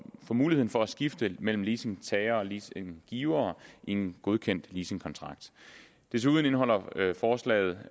muligheden for at skifte mellem leasingtager og leasinggiver i en godkendt leasingkontrakt desuden indeholder forslaget